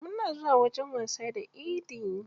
Muna zuwa wajen wasa da idi.